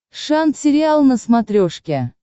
шант сериал на смотрешке